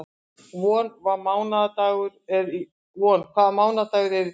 Von, hvaða mánaðardagur er í dag?